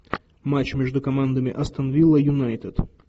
матч между командами астон вилла юнайтед